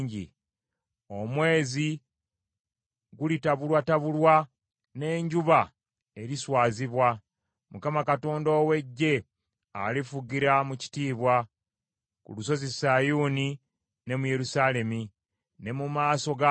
Omwezi gulitabulwatabulwa, n’enjuba eriswazibwa; Mukama Katonda ow’Eggye alifugira mu kitiibwa ku Lusozi Sayuuni ne mu Yerusaalemi, ne mu maaso g’abakadde.